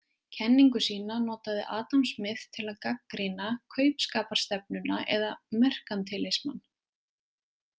Kenningu sína notaði Adam Smith til að gagnrýna kaupskaparstefnuna eða merkantilismann.